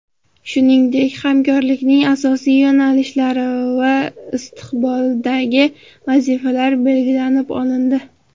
Shuningdek, hamkorlikning asosiy yo‘nalishlari va istiqboldagi vazifalar belgilab olindi.